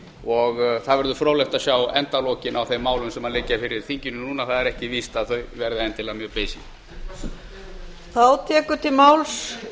og það verður fróðlegt að sjá endalokin á þeim málum sem liggja fyrir þinginu núna það er ekki víst að þau verði endilega mjög beysin